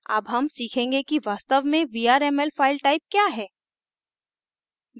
अब हम सीखेंगे कि वास्तव में vrmlफाइल type क्या है